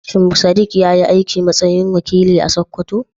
Shin Sadiq ya yi aiki a matsayin wakili a Sakkwato?